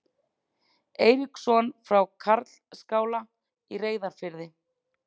Eiríksson frá Karlsskála í Reyðarfirði.